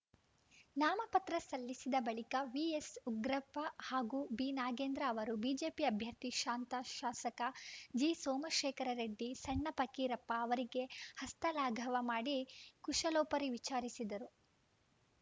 ನಾಮಪತ್ರ ಸಲ್ಲಿಸಿದ ಬಳಿಕ ವಿಎಸ್‌ಉಗ್ರಪ್ಪ ಹಾಗೂ ಬಿನಾಗೇಂದ್ರ ಅವರು ಬಿಜೆಪಿ ಅಭ್ಯರ್ಥಿ ಶಾಂತಾ ಶಾಸಕ ಜಿಸೋಮಶೇಖರ ರೆಡ್ಡಿ ಸಣ್ಣ ಪಕ್ಕೀರಪ್ಪ ಅವರಿಗೆ ಹಸ್ತಲಾಘವ ಮಾಡಿ ಕುಶಲೋಪರಿ ವಿಚಾರಿಸಿದರು